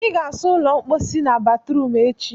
ị ga-asa ụlọ mposi na batrum echi!